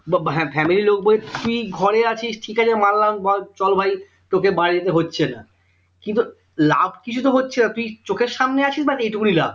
ব হ্যাঁ family লোক বলছে তুই ঘরে আছিস ঠিক আছে মানলাম চল ভাই তোকে বাইরে যেতে হচ্ছে না কিন্তু লাভ কিছু তো হচ্ছে না তুই চোখের সামনে আছিস ব্যাস এই টুকুনিই লাভ